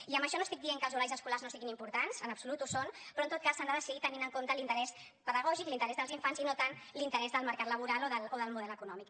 i amb això no estic dient que els horaris escolars no siguin importants en absolut ho són però en tot cas s’han de decidir tenint en compte l’interès pedagògic l’interès dels infants i no tant l’interès del mercat laboral o del model econòmic